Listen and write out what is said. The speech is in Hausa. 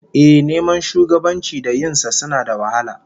Ehh, neman shugabanci da yin sa suna da wahala